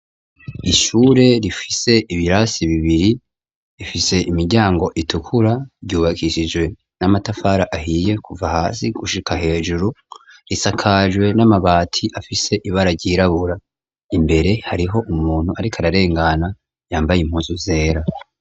Ishure rifise ibirasi bibiri ifise imiryango itukura ryubakishijwe n'amatafara ahiye kuva hasi gushika hejuru risakajwe n'amabati afise ibara ryirabura imbere hariho umuntu ariko ararengana yambaye impuzu zera.